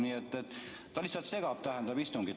Nii et ta lihtsalt segab istungit.